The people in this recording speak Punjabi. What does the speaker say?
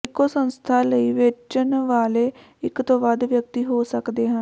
ਇੱਕੋ ਸੰਸਥਾ ਲਈ ਵੇਚਣ ਵਾਲੇ ਇੱਕ ਤੋਂ ਵੱਧ ਵਿਅਕਤੀ ਹੋ ਸਕਦੇ ਹਨ